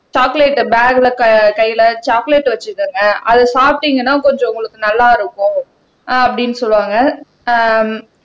சாக்லேட்ட பேக்ல கை கையில சாக்லேட் வச்சுக்கோங்க அதை சாப்பிட்டீங்கன்னா கொஞ்சம் உங்களுக்கு நல்லா இருக்கும் அப்படின்னு சொல்லுவாங்க ஹம்